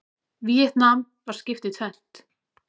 Víetnam var skipt í tvennt.